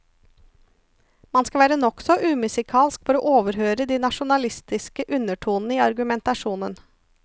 Man skal være nokså umusikalsk for å overhøre de nasjonalistiske undertoner i argumentasjonen.